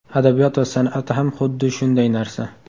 Adabiyot va san’at ham xuddi shunday narsa.